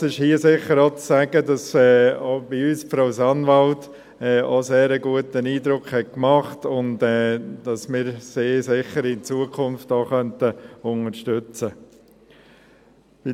Nichtsdestotrotz ist hier sicher auch zu sagen, dass auch bei uns Frau Sanwald ebenfalls einen sehr guten Eindruck gemacht hat und dass wir sie sicher in Zukunft auch unterstützen könnten.